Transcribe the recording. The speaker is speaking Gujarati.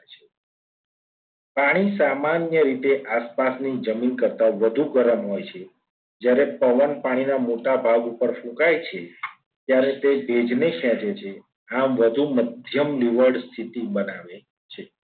પાણી સામાન્ય રીતે આસપાસની જમીન કરતા વધુ ગરમ હોય છે. જ્યારે પવન પાણીના મોટાભાગ ઉપર સુકાય છે. ત્યારે તે ભેજને ખેંચે છે. આમ વધુ મધ્યમ લીવડ સ્થિતિ બનાવે છે.